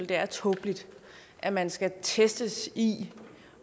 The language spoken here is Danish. det er tåbeligt at man skal testes i